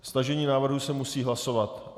Stažení návrhu se musí hlasovat.